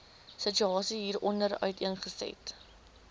situasie hieronder uiteengesit